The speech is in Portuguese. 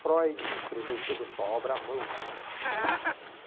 Freud escreveu toda a sua obra à mão.